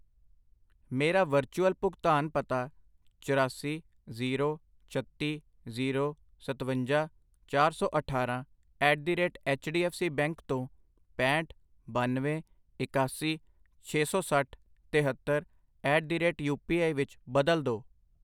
ਮੇਰਾ ਵਰਚੁਅਲ ਭੁਗਤਾਨ ਪਤਾ ਚਰਾਸੀ, ਜ਼ੀਰੋ, ਛੱਤੀ, ਜ਼ੀਰੋ ਸਤਵੰਜਾ, ਚਾਰ ਸੌ ਅਠਾਰਾਂ at the rate H D F C bank ਤੋਂ ਪੈਹਂਠ, ਬਾਨਵੇਂ, ਇਕਾਸੀ, ਛੇ ਸੌ ਸੱਠ, ਤਿਹੱਤਰ at the rate U P I ਵਿੱਚ ਬਦਲੋ ਦੋ I